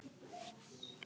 Og sagðir mér ekki neitt!